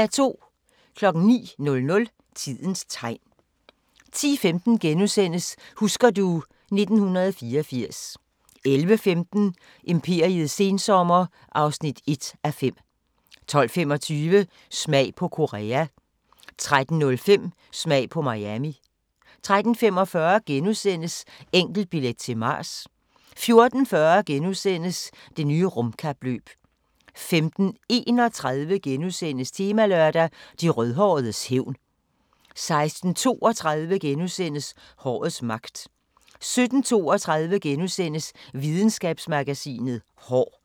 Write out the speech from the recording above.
09:00: Tidens Tegn 10:15: Husker du ... 1984 * 11:15: Imperiets sensommer (1:5) 12:25: Smag på Korea 13:05: Smag på Miami 13:45: Enkeltbillet til Mars * 14:40: Det nye rumkapløb * 15:31: Temalørdag: De rødhåredes hævn * 16:32: Hårets magt * 17:32: Videnskabsmagasinet: Hår *